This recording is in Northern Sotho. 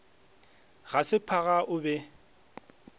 ga se phaga o be